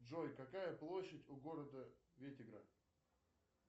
джой какая площадь у города вытегра